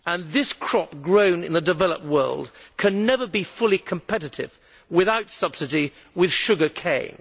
This crop, grown in the developed world, can never be fully competitive without subsidy with sugar cane.